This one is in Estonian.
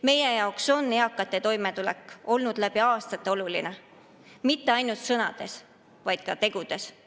Meie jaoks on eakate toimetulek olnud läbi aastate oluline mitte ainult sõnades, vaid ka tegudes.